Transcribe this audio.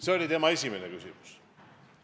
See oli härra Juske esimene küsimus.